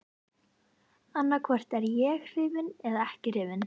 Annaðhvort er ég hrifinn eða ekki hrifinn.